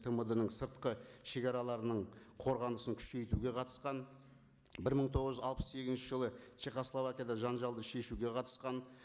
тмд ның сыртқы шегараларының қорғанысын күшейтуге қатысқан бір мың тоғыз жүз алпыс сегізінші жылы чехословакияда жанжалды шешуге қатысқан